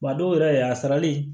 Wa a dɔw yɛrɛ a sarali